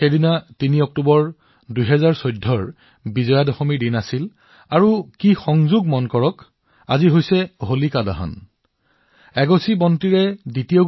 তেতিয়া ৩ অক্টোবৰ ২০১৪ তাৰিখে বিজয়া দশমীৰ শুভ উৎসৱ আছিল আৰু ঘটনাক্ৰমে আজি হোলিকা দহন অনুষ্ঠিত হৈছে